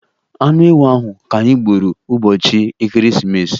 Anụ ewu ahụ ka anyị gburu n'ụbọchị ekeresimesi.